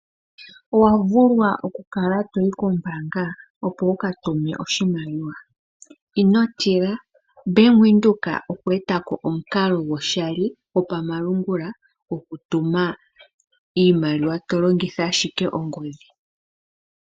Owa vulwa okukala to yi kombaanga opo wu ka tume oshimaliwa? Ino tila. Bank Windhoek okwe eta po omukalo gumwe gwoshali gwopamalungula gwokutuma iimaliwa to longitha ashike ongodhi.